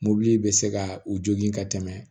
Mobili bɛ se ka u jogin ka tɛmɛ